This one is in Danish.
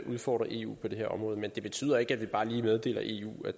udfordre eu på det her område men det betyder ikke at vi bare lige meddeler eu at